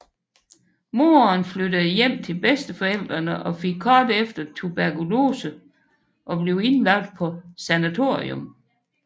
Moren flyttede hjem til bedsteforældrene og fik kort efter tuberkulose og blev indlagt på sanatorium